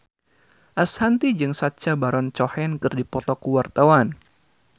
Ashanti jeung Sacha Baron Cohen keur dipoto ku wartawan